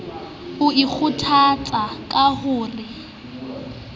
o ikgothatsa ka ho re